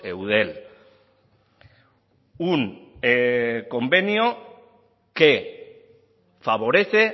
eudel un convenio que favorece